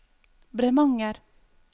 Bremanger